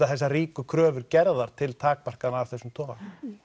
þessar ríku kröfur gerðar til takmarkana af þessum toga